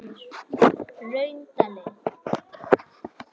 Hraundali